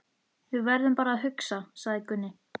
Við verðum bara að hugsa, sagði Gunni.